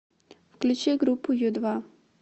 включи группу ю два